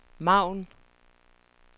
margen